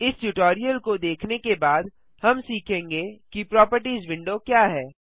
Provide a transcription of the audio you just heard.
इस ट्यूटोरियल को देखने के बाद हम सीखेंगे कि प्रोपर्टिज विंडो क्या है